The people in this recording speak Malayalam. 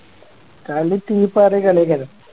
കളി തീ പാറിയ കളിയാ